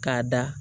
K'a da